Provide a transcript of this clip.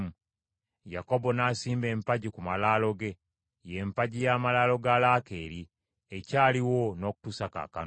Yakobo n’asimba empagi ku malaalo ge, y’empagi y’amalaalo ga Laakeeri, ekyaliwo n’okutuusa kaakano.